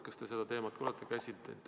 Kas te seda teemat olete käsitlenud?